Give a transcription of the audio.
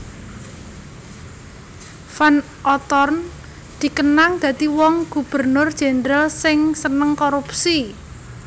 Van Outhoorn dikenang dadi wong Gubernur Jendral sing seneng korupsi